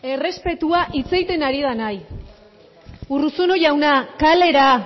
errespetua hitz egiten ari denari urruzuno jauna kalera